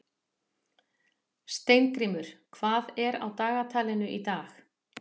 Steingrímur, hvað er á dagatalinu í dag?